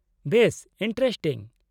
-ᱵᱮᱥ ᱤᱱᱴᱟᱨᱮᱥᱴᱤᱝ !